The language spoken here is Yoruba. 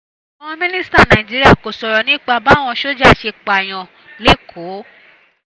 àwọn mínísítà nàìjíríà kò sọ̀rọ̀ nípa báwọn sójà ṣe pààyàn lẹ́kọ̀ọ́